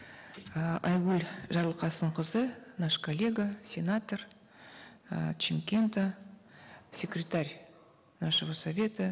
э айгүл жарылқасынқызы наш коллега сенатор э с чимкента секретарь нашего совета